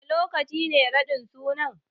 Wane lokaci ne raɗin suna?